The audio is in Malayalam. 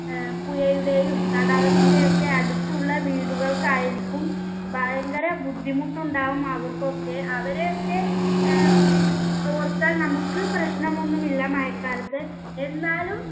ഏർ പുയയുടെയും തടാകത്തിന്റെയൊക്കെ അടുത്തുള്ള വീടുകൾക്കായിരിക്കും ഭയങ്കര ബുദ്ധിമുട്ടുണ്ടാവും അവർക്കൊക്കെ അവരെയൊക്കെ ഏർ ഓർത്താൽ നമ്മുക്ക് പ്രശ്നമൊന്നും ഇല്ല മയക്കാലത്ത് എന്നാലും